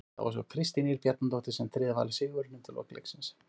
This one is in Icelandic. Það var svo Kristín Ýr Bjarnadóttir sem tryggði Val sigurinn undir lok leiks.